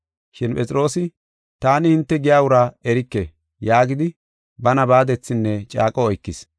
Shin Phexroosi, “Taani hinte giya uraa erike!” yaagidi bana baadethinne caaqo oykis.